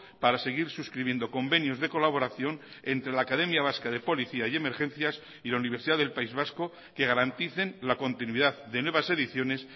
para seguir suscribiendo convenios de colaboración entre la academia vasca de policía y emergencias y la universidad del país vasco que garanticen la continuidad de nuevas ediciones